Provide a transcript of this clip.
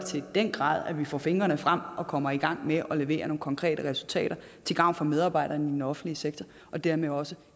den grad at vi får fingrene frem og kommer i gang med at levere nogle konkrete resultater til gavn for medarbejderne i den offentlige sektor og dermed også